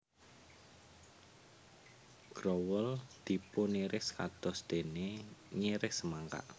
Growol dipuniris kados dene ngiris semangka